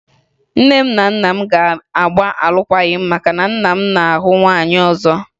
Nne m na nna m ga-agba alụkwaghị m maka na nna m na-ahụ nwaanyị ọzọ